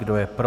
Kdo je pro?